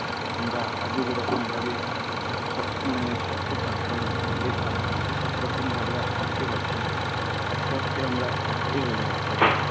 আমরা আগে যেরকম ভাবে মানে শক্ত থাকতাম ইয়ে থাকতাম সে রকম ভাবে আর থাকতে পারছি না আস্তে আস্তে আমরা হয়ে যাচ্ছি আর কি